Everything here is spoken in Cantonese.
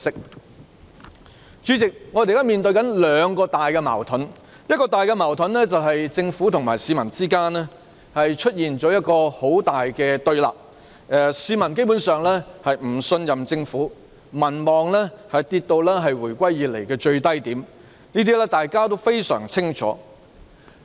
代理主席，我們現時面對兩大矛盾，第一，是政府與市民之間出現很大對立，市民基本上已不信任政府，政府的民望下跌至回歸以來的最低點，這點大家都非常清楚。